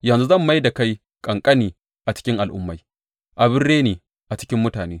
Yanzu zan mai da kai ƙanƙani a cikin al’ummai abin reni a cikin mutane.